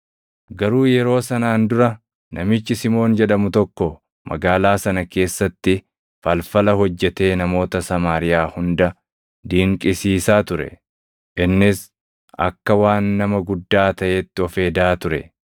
Garuu yeroo sanaan dura namichi Simoon jedhamu tokko magaalaa sana keessatti falfala hojjetee namoota Samaariyaa hunda dinqisiisaa ture; innis akka waan nama guddaa taʼeetti of hedaa ture.